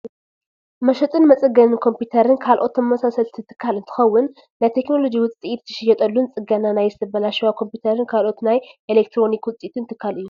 መሸጥን መፀገንን ኮምፒተርን ካልኦት ተመሳሰልቲ ትካል እንትከውን፣ ናይ ቴክኖሎጂ ውፅኢት ዝሽየጠሉን ፅገና ናይ ዝተባላሸዋ ኮምፒተርን ካልኦት ናይ ኤሌትሮኒክ ውፅኢትን ትካል እዩ።